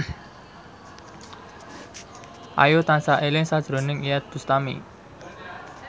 Ayu tansah eling sakjroning Iyeth Bustami